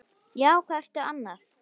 Já, hvað ertu annað?